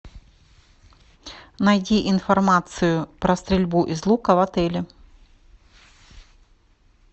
найди информацию про стрельбу из лука в отеле